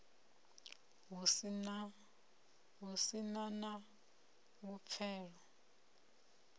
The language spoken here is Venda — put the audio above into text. hu si na na vhupfelo